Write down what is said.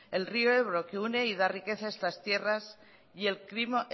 el río ebro que une y da riqueza a estas tierras y